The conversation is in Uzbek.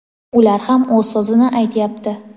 ular ham o‘z so‘zini aytyapti.